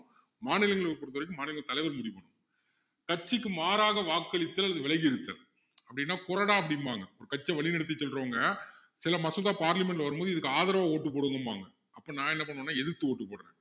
மாநிலங்களை பொறுத்த வரைக்கும் மாநில தலைவர் முடிவு பண்ணணும கட்சிக்கு மாறாக வாக்களித்தல் அல்லது விலகி இருத்தல் அப்படின்னா கொறடா அப்படிம்பாங்க ஒரு கட்சியை வழிநடத்தி செல்றவங்க சில மசோதா parliament ல வரும் பொது இதற்கு ஆதரவா vote போடுங்கம்பாங்க அப்போ நான் என்ன பண்ணுவேன்ன பாத்திங்கன்னா எதிர்த்து vote போடுறேன்